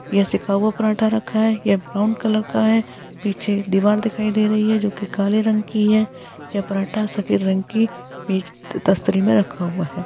यह सेका हुआ पराठा रखा है। यह ब्राउन कलर का है। पीछे दीवार दिखाई दे रही है जो की काले रंग की है। यह पराठा सफेद रंग की पिच द-स्तरी में रखा हुआ है।